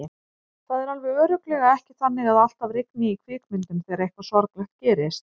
Það er alveg örugglega ekki þannig að alltaf rigni í kvikmyndum þegar eitthvað sorglegt gerist.